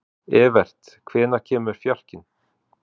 Evert, hvenær kemur fjarkinn?